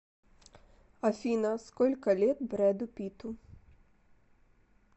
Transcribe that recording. афина сколько лет брэду питту